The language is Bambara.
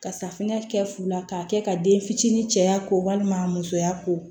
Ka safinɛ kɛ fu la k'a kɛ ka den fitini cɛya ko walima musoya ko